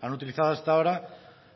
han utilizado hasta ahora